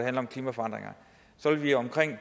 om klimaforandringer vil vi omkring